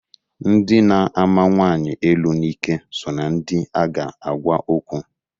Ndị na-ama nwanyi elu n'ike so na ndị a ga agwa okwu.